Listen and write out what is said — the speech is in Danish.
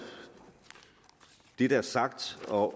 det der er sagt og